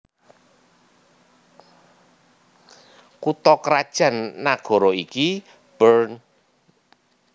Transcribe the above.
Kutha krajan nagara iki Bern